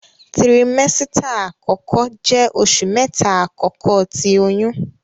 Tiramesita akọkọ jẹ oṣu mẹta akọkọ ti oyun.